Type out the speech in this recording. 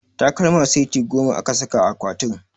Takalma seti goma aka saka a akwatin